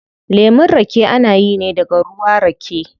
Lemun rake ana yi ne daga ruwa rake